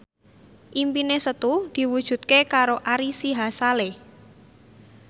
impine Setu diwujudke karo Ari Sihasale